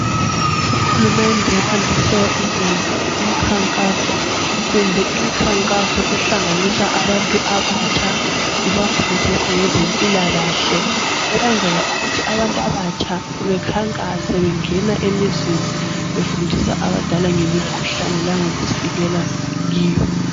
Uhulumende wandise ukwenza umkhankaso kumbe imikhankaso ehlanganisa abantu abatsha ibafundisa ngezempilakahle ukwenzela ukuthi abantu abatsha bekhankase bengena emizini befundisa abadala ngemikhuhlane langokuzivikela kiyo.